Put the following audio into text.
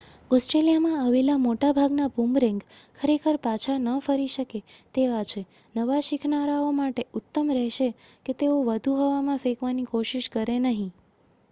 ઓસ્ટ્રેલીયામાં આવેલા મોટા ભાગના બૂમરેંગ ખરેખર પાછા ન ફરી શકે તેવા છે નવા શિખનારાઓ માટે ઉત્તમ રહેશે કે તેઓ વધુ હવામાં ફેકવાની કોશિશ કરે નહીં